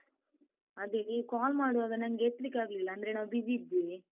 ಅದೇ, ನೀ call ಮಾಡುವಾಗ ನಂಗೆ ಎತ್ಲಿಕ್ಕಾಗ್ಲಿಲ್ಲ, ಅಂದ್ರೆ ನಾವ್ busy ಇದ್ವಿ.